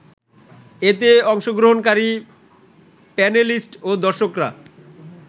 এতে অংশগ্রহণকারী প্যানেলিস্ট ও দর্শকরা